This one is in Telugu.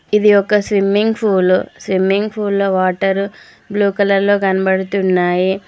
ఇది ఒక స్విమ్మింగ్ పూలు స్విమ్మింగ్ పూల్ లో వాటరు బ్లూ కలర్ లో కనబడుతున్నాయి.